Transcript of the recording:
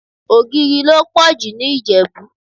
Ogìrì lo pọ̀jù ní Ìjẹ̀bú.